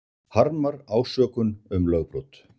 Harmar ásökun um lögbrot